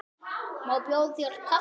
Má bjóða þér kaffi?